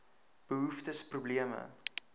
behoeftes probleme